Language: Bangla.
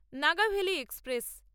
নাগাভেলি এক্সপ্রেস